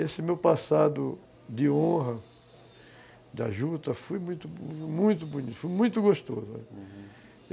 Esse meu passado de honra, da juta, foi muito bonito, foi muito gostoso, uhum.